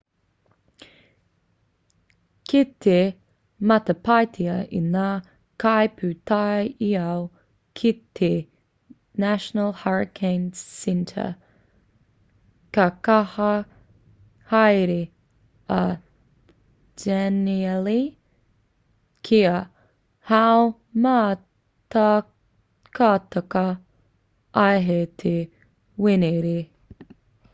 kei te matapaetia e ngā kaipūtaiao ki te national hurricane centre ka kaha haere a danielle kia haumātakataka ai hei te wenerei